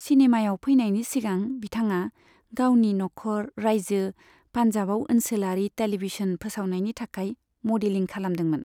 सिनेमायाव फैनायनि सिगां, बिथाङा गावनि नखर रायजो पान्जाबआव ओनसोलारि टेलिभिजन फोसावथायनि थाखाय मदेलिं खालामदोंमोन।